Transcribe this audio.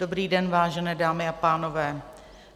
Dobrý den vážené dámy a pánové.